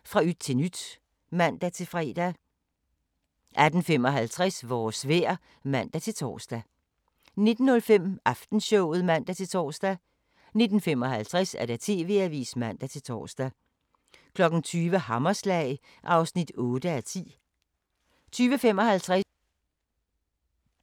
23:45: Den amerikanske mafia: Lucky Luciano (1:8) 00:25: Jagten på den hvide enke * 01:10: Hjælp, jeg har ingen hormoner! 01:55: Deadline Nat